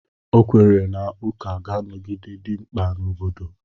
Ọ kwere na ụka ga-anọgide idị mkpa n'obodo.